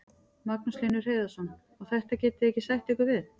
Magnús Hlynur Hreiðarsson: Og þetta getið þið ekki sætt ykkur við?